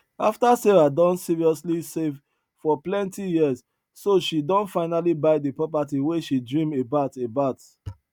after sarah don seriously save for plenti years so she don finally buy the property wey she dream about about